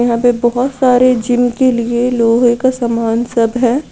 यहाँ पे बहोत सारी जिम के लिए लोहे का सामान सब है।